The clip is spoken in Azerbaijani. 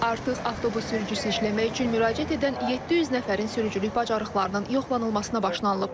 Artıq avtobus sürücüsü işləmək üçün müraciət edən 700 nəfərin sürücülük bacarıqlarının yoxlanılmasına başlanılıb.